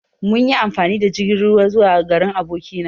Mun yi amfani da jirgin ruwa zuwa garin aboki na.